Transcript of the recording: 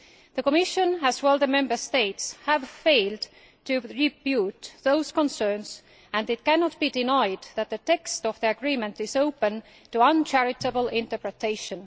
The Commission, as well as the Member States, have failed to rebut those concerns and it cannot be denied that the text of the agreement is open to uncharitable interpretation.